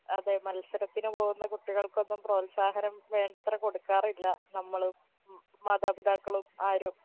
അതെ മത്സരത്തിന് പോകുന്ന കുട്ടികൾക്കൊന്നും പ്രോത്സാഹനം വേണ്ടത്ര കൊടുക്കാറില്ല നമ്മളും മാതാപിതാക്കളും ആരും